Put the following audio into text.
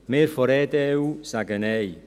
– Wir von der EDU sagen Nein.